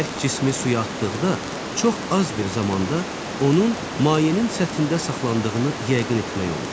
Bərk cismi suya atdıqda çox az bir zamanda onun mayenin səthində saxlandığını yəqin etmək olur.